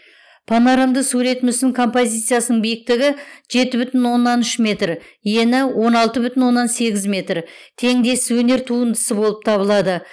понарамды сурет мүсін композициясының биіктігі жеті бүтін оннан үш метр ені он алты бүтін оннан сегіз метр теңдесіз өнер туындысы болып табылады